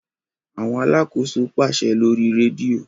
Awọn alàkóso paṣẹ lórí redio